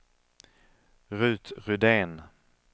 Rut Rydén